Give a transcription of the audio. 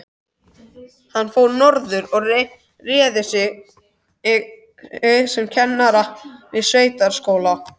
Hann fór norður og réði sig sem kennara við sveitaskóla.